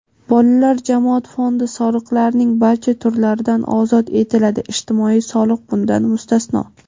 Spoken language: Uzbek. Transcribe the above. Bolalar jamoat fondi soliqlarning barcha turlaridan ozod etiladi (ijtimoiy soliq bundan mustasno).